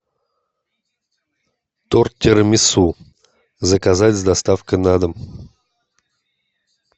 торт тирамису заказать с доставкой на дом